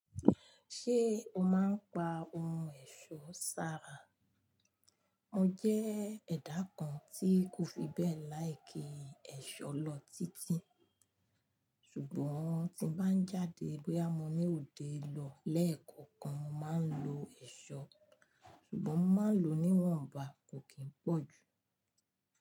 Ṣé o máa ń pa ohun ẹ̀ṣọ́ sára? Mọ jẹ́ ẹ̀dá kan tí kò fi bẹ́ẹ̀ láì kí ẹ̀ṣọ́ lọ títí. Sugbọn ti m bá ń jáde bóyá mò ní òde lọ lẹ́ẹ̀kọ̀kan, mo máa ń lo ẹ̀ṣọ́. Sugbọn mo máa ń lo níwọ̀nba kò kí ń pọ̀ jù.